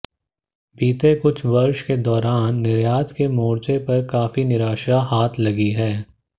बीते कुछ वर्ष के दौरान निर्यात के मोर्चे पर काफी निराशा हाथ लगी है